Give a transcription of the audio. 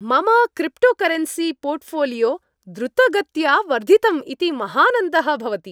मम cryptocurrency portfolio द्रुतगत्या वर्धितम् इति महानन्दः भवति।